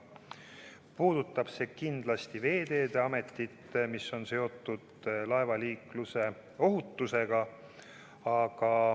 Puudutab see kindlasti Veeteede Ametit ja see on seotud laevaliikluse ohutusega.